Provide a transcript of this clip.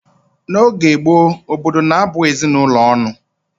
N'oge gboo, obodo na-abụ ezinụlọ ọnụ